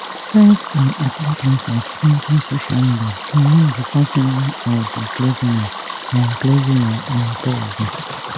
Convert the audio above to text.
friends and acquaintances enta social media to mourn di passing of di clergyman on clergyman on thursday